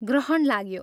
ग्रहण लाग्यो।